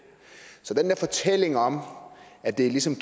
så den der fortælling om at det ligesom